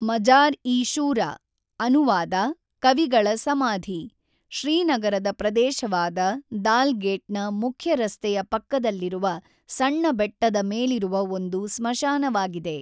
ಮಜಾರ್-ಇ-ಶೂರಾ (ಅನುವಾದ: ಕವಿಗಳ ಸಮಾಧಿ) ಶ್ರೀನಗರದ ಪ್ರದೇಶವಾದ ದಾಲ್‌ಗೇಟ್‌ನ ಮುಖ್ಯ ರಸ್ತೆಯ ಪಕ್ಕದಲ್ಲಿರುವ ಸಣ್ಣ ಬೆಟ್ಟದ ಮೇಲಿರುವ ಒಂದು ಸ್ಮಶಾನವಾಗಿದೆ.